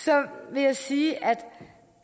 vil jeg sige at